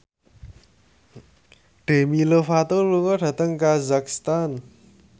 Demi Lovato lunga dhateng kazakhstan